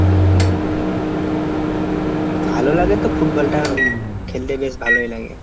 ভালো লাগে তো ফুটবলটা খেলতে বেশ ভালোই লাগে।